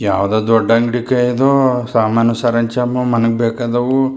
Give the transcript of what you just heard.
ಯಾವದೋ ದೊಡ್ಡ ಅಂಗಡಿಕ್ ಇದು ಸಾಮಾನು ಸರಂಜಾಮು ಮನೆಗ್ ಬೇಕಾದವು. --